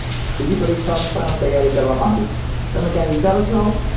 બીજી પરીક્ષાઓની પણ તૈયારી કરવા માગું છુ તમે કાઈ વિચારો છો આવું